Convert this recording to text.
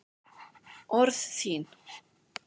Orð þín